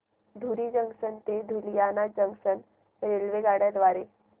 धुरी junction ते Ludhiana junction रेल्वेगाड्यां द्वारे